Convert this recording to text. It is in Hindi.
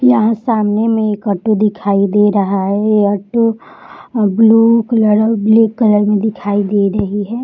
यहाँ सामने में एक ऑटो दिखाई दे रहा है। ये ऑटो ब्लू कलर और ब्लैक कलर में दिखाई दे रही है।